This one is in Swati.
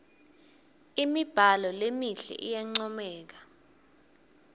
imibhalo lemihle iyancomeka